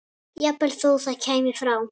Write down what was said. Jafnvel þó það kæmi frá